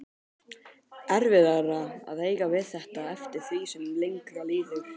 Erfiðara að eiga við þetta eftir því sem lengra líður.